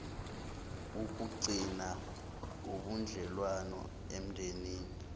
ukugcina ubudlelwano emndenini